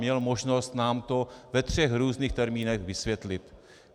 Měl možnost nám to ve třech různých termínech vysvětlit.